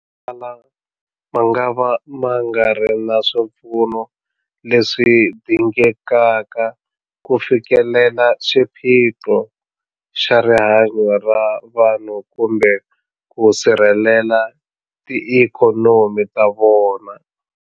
Motala mangava ma nga ri na swipfuno leswi dingekaka ku fikelela xiphiqo xa rihanyu ra vanhu kumbe ku sirhelela tiikhonomi ta vona.